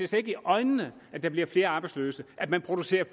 ser i øjnene at der bliver flere arbejdsløse at man producerer